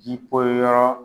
Ji poyi yɔrɔ